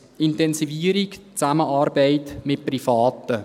die Intensivierung der Zusammenarbeit mit Privaten.